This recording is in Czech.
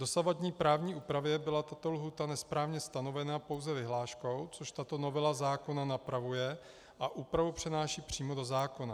V dosavadní právní úpravě byla tato lhůta nesprávně stanovena pouze vyhláškou, což tato novela zákona napravuje a úpravu přináší přímo do zákona.